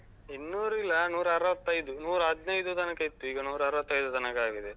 ಇನ್ನೂರು ಇಲ್ಲ. ನೂರಾ ಅರವತ್ತೈದು, ನೂರಾ ಹದ್ನೈದು ತನಕ ಇತ್ತು. ಈಗ ನೂರಾ ಅರವತ್ತೈದು ತನಕ ಆಗಿದೆ.